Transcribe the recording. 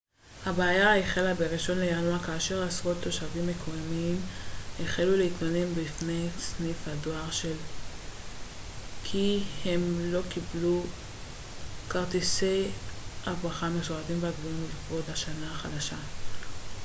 הבעיה החלה בראשון לינואר כאשר עשרות תושבים מקומיים החלו להתלונן בפני סניף הדואר של אובאנאזאווא כי הם לא קיבלו את כרטיסי הברכה המסורתיים והקבועים לכבוד השנה החדשה